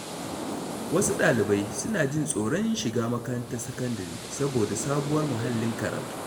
Wasu ɗalibai suna jin tsoron shiga makarantar sakandare saboda sabuwar muhallin karatu.